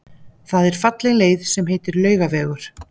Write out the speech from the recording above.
Það er falleg leið sem heitir Laugavegur.